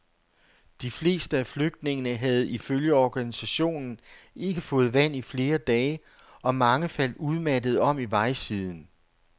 De fleste af flygtningene havde ifølge organisationen ikke fået vand i flere dage og mange faldt udmattede om i vejsiden.